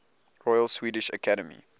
royal swedish academy